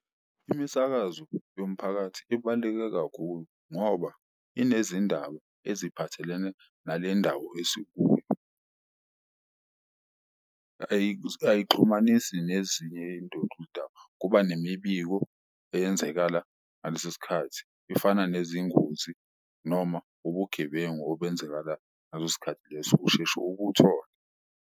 Imisakazo yomphakathi ibaluleke kakhulu ngoba inezindaba eziphathelene nale ndawo esikuyo ayixhumanisi nezinye kuba nemibiko eyenzekala ngaleso sikhathi. Ifana nezingozi noma ubugebengu obenzekala ngaleso skhathi leso, usheshe ukuthole.